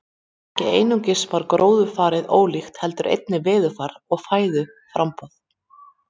Ekki einungis var gróðurfarið ólíkt heldur einnig veðurfar og fæðuframboð.